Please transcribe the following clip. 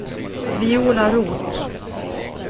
Viola Roth